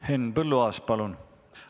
Henn Põlluaas, palun!